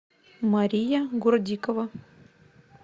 мария гурдикова